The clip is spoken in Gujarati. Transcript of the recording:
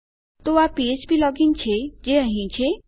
તો આ ફ્પ્લોજિન છે જે અહીં છે